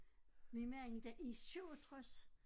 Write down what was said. Min mand da i 67